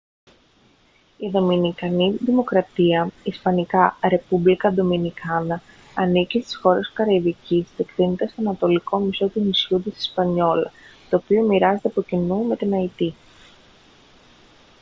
η δομινικανή δημοκρατία ισπανικά: republica dominicana ανήκει στις χώρες της καραϊβικής και εκτείνεται στο ανατολικό μισό του νησιού της ισπανιόλα το οποίο μοιράζεται από κοινού με την αϊτή